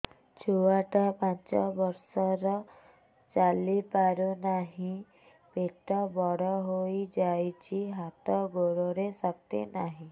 ଛୁଆଟା ପାଞ୍ଚ ବର୍ଷର ଚାଲି ପାରୁ ନାହି ପେଟ ବଡ଼ ହୋଇ ଯାଇଛି ହାତ ଗୋଡ଼ରେ ଶକ୍ତି ନାହିଁ